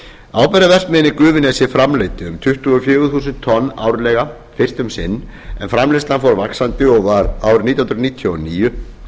í gufunesi framleiddi um tuttugu og fjögur þúsund tonn árlega fyrst um sinn en framleiðslan fór vaxandi og var árið nítján hundruð níutíu og níu